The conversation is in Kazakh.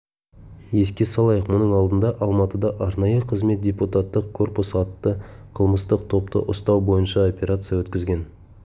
еске салайық мұның алдында алматыда арнайы қызмет депутаттық корпус атты қылмыстық топты ұстау бойынша операция өткізген